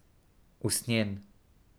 Usnjen.